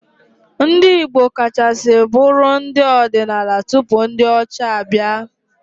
Ndị Igbo kachasị bụụrụ ndị ọdịnala tupu ndị ọcha abịa.